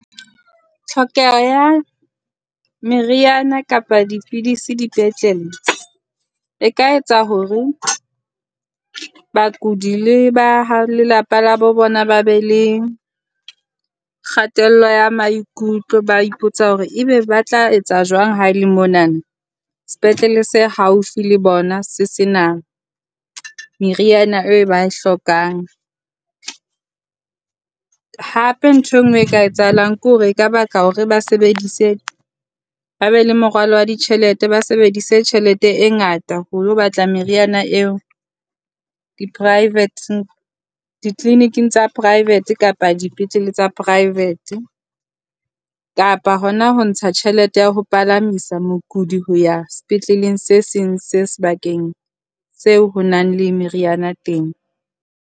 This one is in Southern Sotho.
Tlhokeho ya meriana kapa dipidisi dipetlele e ka etsa hore bakudi le ba lelapa la bo bona ba be le kgatello ya maikutlo. Ba ipotsa hore ebe ba tla etsa jwang haele mona sepetlele se haufi le bona se sena meriana eo ba e hlokang. Hape ntho e nngwe e ka etsahalang ke hore e ka baka hore ba sebedise ba be le moralo wa ditjhelete, ba sebedise tjhelete e ngata ho ilo batla meriana eo di-private di-clinic-ng tsa private kapa dipetlele tsa private kapa hona ho ntsha tjhelete ya ho palamisa mokudi ho ya sepetleleng se seng se sebakeng seo ho nang le meriana teng.